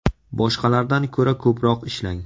Boshqalardan ko‘ra ko‘proq ishlang.